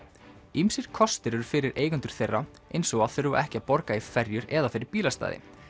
ýmsir kostir eru fyrir eigendur þeirra eins og að þurfa ekki að borga í ferjur eða fyrir bílastæði